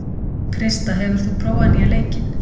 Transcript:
Krista, hefur þú prófað nýja leikinn?